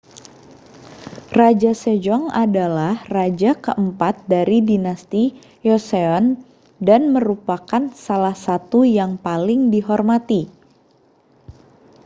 raja sejong adalah raja keempat dari dinasti joseon dan merupakan salah satu yang paling dihormati